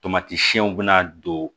Tomati siɛn bɛna don